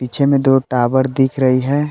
पीछे में दो टावर दिख रही है।